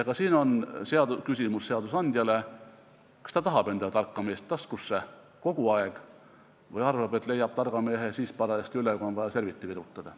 Ka siin on küsimus seadusandjale, kas ta tahab endale tarka meest taskusse kogu aeg või arvab, et leiab targa mehe parajasti siis üles, kui on vaja serviti virutada.